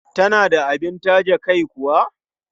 Tana da abin taje kai kuwa?